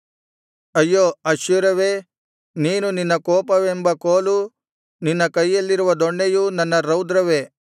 ಅಯ್ಯೋ ಅಶ್ಶೂರವೇ ನೀನು ನನ್ನ ಕೋಪವೆಂಬ ಕೋಲು ನಿನ್ನ ಕೈಯಲ್ಲಿರುವ ದೊಣ್ಣೆಯು ನನ್ನ ರೌದ್ರವೇ